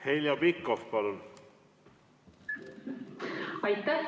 Heljo Pikhof, palun!